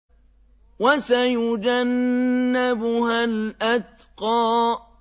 وَسَيُجَنَّبُهَا الْأَتْقَى